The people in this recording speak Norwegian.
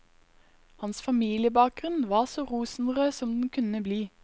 Hans familiebakgrunn var så rosenrød som den kunne bli.